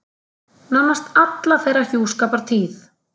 Nánast alla þeirra hjúskapartíð.